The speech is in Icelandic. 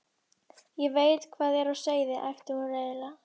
Ég veit hvað er á seyði, æpti hún reiðilega.